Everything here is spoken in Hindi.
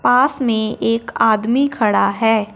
पास में एक आदमी खड़ा है।